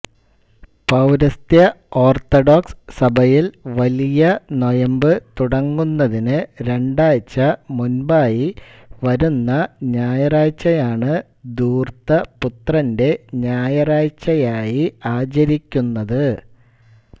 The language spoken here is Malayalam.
പൌരസ്ത്യ ഓർത്തഡോക്സ് സഭയിൽ വലിയ നോയമ്പ് തുടങ്ങുന്നതിനു രണ്ടാഴ്ച മുൻപായി വരുന്ന ഞായറാഴ്ചയാണ് ധൂർത്തപുത്രന്റെ ഞായറാഴ്ചയായി ആചരിക്കുന്നത്